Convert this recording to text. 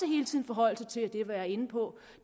hele tiden forholde sig til og det var jeg inde på